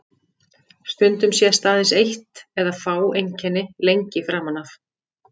Stundum sést aðeins eitt eða fá einkenni lengi framan af.